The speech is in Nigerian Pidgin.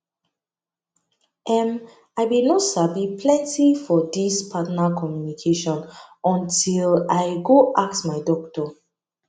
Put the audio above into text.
em i been no sabi plenty for this partner communication until i go ask my doctor